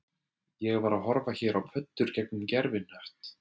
Ég var að horfa hér á pöddur gegnum gervihnött